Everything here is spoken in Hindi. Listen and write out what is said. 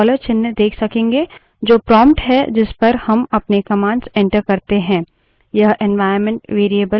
जब हम terminal को खोलेंगे हम dollar चिन्ह देख सकेंगे जो prompt है जिस पर हम अपने commands enter करते है